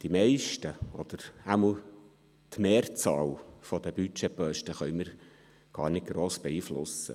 Die meisten, oder jedenfalls die Mehrzahl der Budgetposten, können wir gar nicht gross beeinflussen.